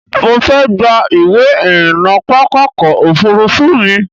Mo fẹ́ gba ìwé-ìrìnnà pápákọ̀-òfurufú mi.